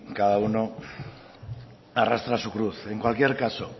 cada uno arrastra su cruz en cualquier caso